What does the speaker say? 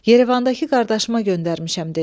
Yerevandakı qardaşıma göndərmişəm, dedi.